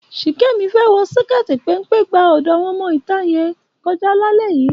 Ṣìkẹ́mi fẹ́ wọn síkẹ́ẹ̀tì péńpé gba ọ̀dọ̀ àwọn ọmọ ìta yẹn kọjá lálẹ́ yìí.